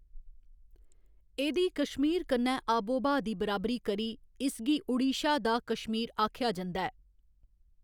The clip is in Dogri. एह्‌‌‌दी कश्मीर कन्नै आबोब्हा दी बराबरी करी इसगी ओडिशा दा कश्मीर आखेआ जंदा ऐ।